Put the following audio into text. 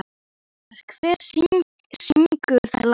Eivör, hver syngur þetta lag?